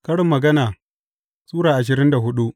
Karin Magana Sura ashirin da hudu